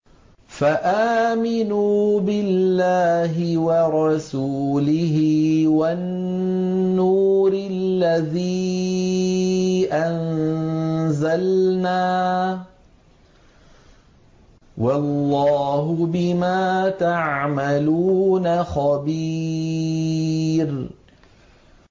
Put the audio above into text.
فَآمِنُوا بِاللَّهِ وَرَسُولِهِ وَالنُّورِ الَّذِي أَنزَلْنَا ۚ وَاللَّهُ بِمَا تَعْمَلُونَ خَبِيرٌ